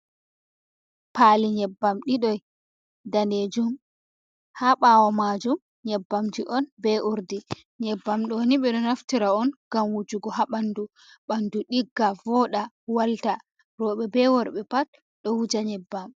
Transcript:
Pali nyeɓɓam ɗidoi danejum ha bawo majum nyeɓɓamji on be urɗi nyeɓɓam ɗo ni ɓe ɗo naftira on ngam wujugo ha ɓandu ɓandu digga voɗa walta roɓe be worɓe pat ɗo huja nyeɓɓam.